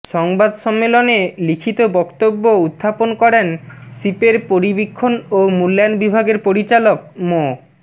সংবাদ সম্মেলনে লিখিত বক্তব্য উত্থাপন করেন সিপের পরিবীক্ষণ ও মূল্যায়ন বিভাগের পরিচালক মো